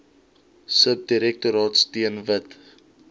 subdirektoraat steun wit